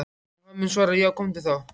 Og hann mun svara:- Já komdu þá.